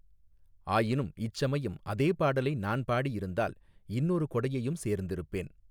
ஆயினும் இச்சமயம் அதே பாடலை நான் பாடியிருந்தால் இன்னொரு கொடையையும் சேர்ந்திருப்பேன்.